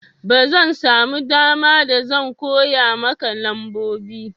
ba zan samu dama ba da zan koya maka nambobi